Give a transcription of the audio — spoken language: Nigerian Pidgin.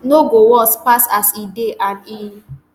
no go worse pass as e dey and e